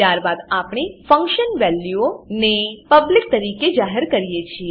ત્યારબાદ આપણે function values function વેલ્યુઓ ને પબ્લિક પબ્લિક તરીકે જાહેર કરી છે